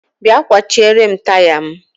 bia kwachierem taya m.